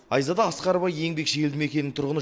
айзада асқарова еңбекші елді мекенінің тұрғыны